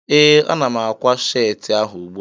Ee, ana m ákwá sheetị ahụ ugbua